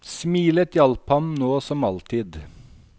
Smilet hjalp ham nå som alltid.